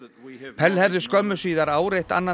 pell hefði skömmu síðar áreitt annan